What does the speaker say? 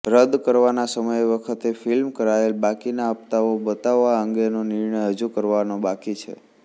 રદ કરવાના સમય વખતે ફિલ્મ કરાયેલ બાકીના હપ્તાઓ બતાવવા અંગેનો નિર્ણય હજુ કરવાનો બાકી છે